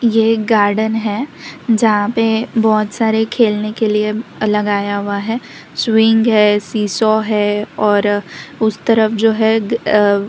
ये एक गार्डन है जहां पे बहुत सारे खेलने के लिए लगाया हुआ है सुविंग है सीसौ है और उस तरफ जो है --